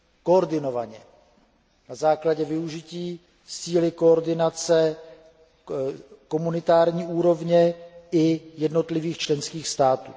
koordinovaně, na základě využití síly koordinace komunitární úrovně i jednotlivých členských států.